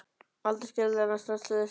Aldrei skyldi hann snerta á þessu barni.